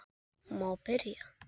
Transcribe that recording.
Má byrja?